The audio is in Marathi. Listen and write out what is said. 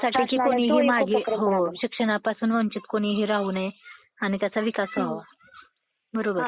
शिक्षणापासून वंचित कोणीही राहू नये आणि त्याचा विकास व्हावा. बरोबर?